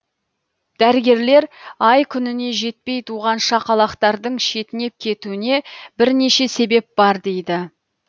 дәрігерлер ай күніне жетпей туған шақалақтардың шетінеп кетуіне бірнеше себеп бар дейді